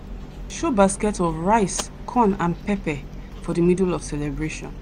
show basket of rice corn and pepper for the middle of celebration.